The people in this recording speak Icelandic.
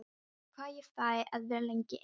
Þarf að vita hvað ég fæ að vera lengi ein.